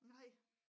Nej